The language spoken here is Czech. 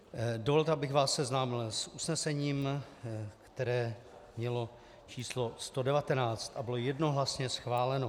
Dovolte, abych vás seznámil s usnesením, které mělo č. 119 a bylo jednohlasně schváleno.